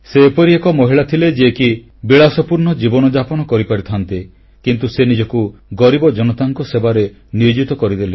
ସେ ଏପରି ଏକ ମହିଳା ଥିଲେ ଯିଏ କି ବିଳାସପୂର୍ଣ୍ଣ ଜୀବନଯାପନ କରିପାରିଥାନ୍ତେ କିନ୍ତୁ ସେ ନିଜକୁ ଗରିବ ଜନତାଙ୍କ ସେବାରେ ନିୟୋଜିତ କରିଦେଲେ